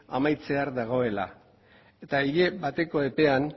amaitzear dagoela eta hile bateko epean